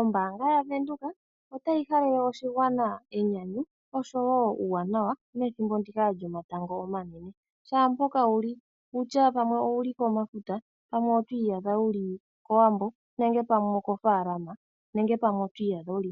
Ombaanga yavenduka, otayi halele oshigwana enyanyu, oshowo uuwanawa methimbo ndika lyomatango omanene. Shaampoka wuli, okutya pamwe owuli komafuta, nenge kowambo, nenge koofalama, nenge